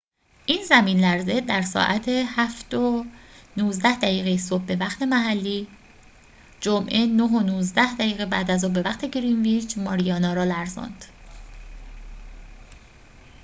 این زمین‌لرزه در ساعت 07:19 دقیقه صبح به وقت محلی جمعه 09:19 بعدازظهر به وقت گرینویچ ماریانا را لرزاند